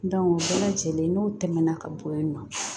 o bɛɛ lajɛlen n'o tɛmɛna ka bɔ yen nɔ